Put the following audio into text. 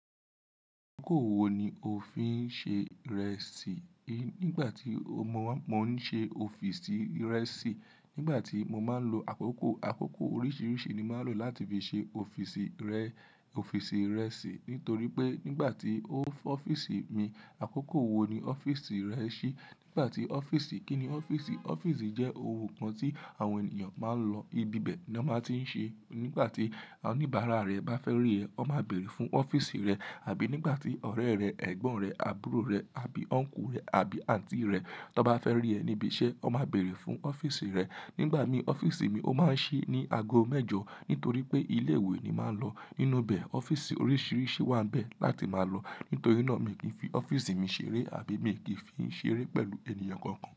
Akókò wo ni o fi ń ṣe Ìrẹsí? Nígbà tí mo, mo ń ṣe ọ́fíìsì ìrẹsí, nígbà tí mo máa ń lo àkókò, àkókò oríṣiríṣi ni màá ń lo láti fi ṣe ọ́fíìsì rẹ, ọ́fíìsì ìrẹsí. Nítorí pé nígbà tí o, ọ́fíìsì mi, àkókò wo ni ọ́fíìsì rẹ ṣí? Nígbà tí ọ́fíìsì, kí ni ọ́fíìsì? Ọ́fíìsì jẹ́ ohun kan tí àwọn ènìyàn máa ń lọ, ibi bẹ ni wọ́n máa tíí ń ṣe. Nígbà tí awon oníbàárà rẹ bá fẹ́ rí ẹ, won máa bèrè fún ọ́fíìsì rẹ àbí nígbà tí ọ̀rẹ́ rẹ, ẹ̀gbọ́n rẹ, àbúrò rẹ àbí Ọnkú rẹ àbí Àǹtí rẹ, tí wọ́n bá fẹ́ rí ẹ níbi iṣẹ́, wọ́n máa bèrè fún ọ́fíìsì rẹ. Nígbà mi n, ọ́fíìsì mi, ó máa ń ṣí ní ago mẹ́jọ nítorí pé ilé ìwé ni màá ń lọ. Nínú bẹ̀ ọ́fíìsì oríṣiríṣi wà n bẹ̀ láti máa lọ. Nítorí náà mi kì í fi ọ́fíìsì mi ṣeré àbí mi kì í fi í ṣeré pẹ̀lú ènìyàn kankan.